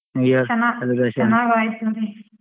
ಚನ್ನಾಗಾಯ್ತುರಿ.